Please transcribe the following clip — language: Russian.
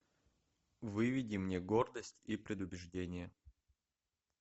выведи мне гордость и предубеждение